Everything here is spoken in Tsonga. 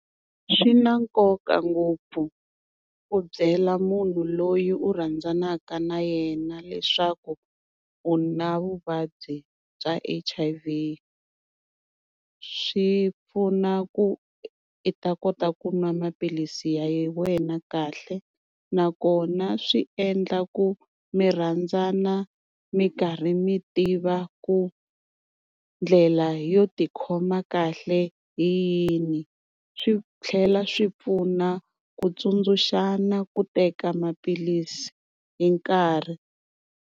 Swi na nkoka ngopfu ku byela munhu loyi u rhandzanaka na yena leswaku u na vuvabyi bya H_I _V swi pfuna ku i ta kota ku n'wa maphilisi ya wena kahle. Nakona swi endla ku mi rhandzana mi karhi mi tiva ku ndlela yo tikhoma kahle hi yini, swi tlhela swi pfuna ku tsundzuxana ku teka maphilisi hi nkarhi.